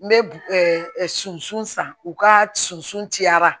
N bɛ susu san u ka susun cayara